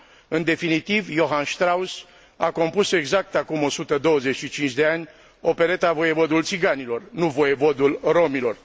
În definitiv, Johann Strausss a compus exact acum o sută douăzeci și cinci de ani opereta Voievodul țiganilor, nu Voievodul romilor.